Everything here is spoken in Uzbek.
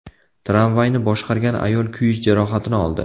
Tramvayni boshqargan ayol kuyish jarohatini oldi.